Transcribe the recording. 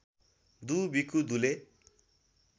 दु विकु दुले